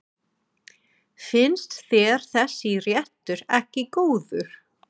Finnst þér þessi réttur ekki góður?